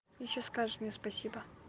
ты ещё скажешь мне спасибо